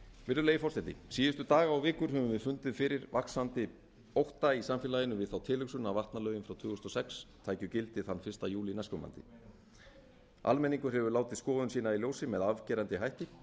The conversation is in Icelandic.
virðulegi forseti síðustu daga og vikur höfum við fundið fyrir vaxandi ótta í samfélaginu við þá tilhugsun að vatnalögin frá tvö þúsund og sex tækju gildi þann fyrsta júlí næstkomandi almenningur hefur látið skoðun sína í ljósi með afgerandi hætti og